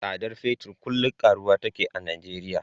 Tsadar fetir kullum karuwa take a Nijeriya.